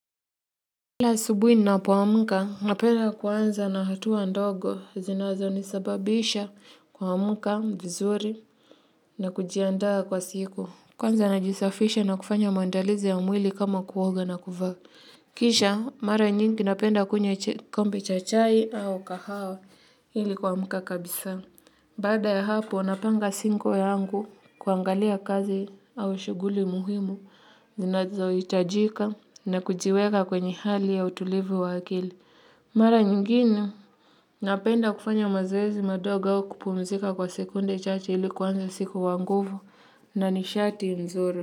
Kila subuhi ninapo amka, napenda kuanza na hatua ndogo zinazo nisababisha kuamka vizuri na kujiandaa kwa siku. Kwanza najisafisha na kufanya maandalizi ya mwili kama kuoga na kuvaa. Kisha, mara nyingi napenda kunywa kombe cha chai au kahawa hili kuamka kabisa. Baada ya hapo, napanga siku yangu kuangalia kazi au shughuli muhimu, zinazo itajika na kujiweka kwenye hali ya utulivu wa akili. Mara nyingine, napenda kufanya mazoezi madogo au kupumzika kwa sekunde chache ilikuanza siku kwa nguvu na nishati nzuri.